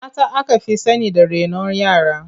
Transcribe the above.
Mata aka fi sani da renon yara.